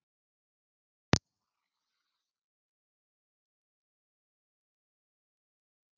Björn: Og verður framhald þá hvenær?